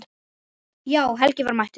Já, Helgi var mættur.